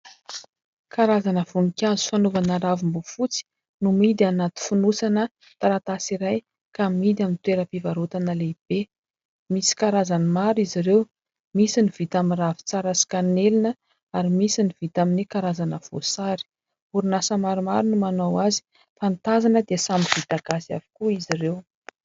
Karazana voninkazo fanaovana ravim-bofoatsy no mihidy anaty fonosana taratasy iray ka mihidy amin'ny toeram-pivarotana lehibe misy karazany maro izy ireo, misy ny vita amin'ny ravintsara sy kanelina ary misy ny vita amin'ny karazana voasary ; orinasa maromaro no manao azy fa ny tazana dia samy vita gasy avokoa izy ireo.